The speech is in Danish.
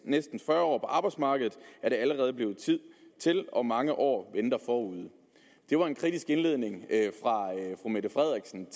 næsten fyrre år på arbejdsmarkedet er det allerede blevet til til og mange år venter forude det var en kritisk indledning af fru mette frederiksen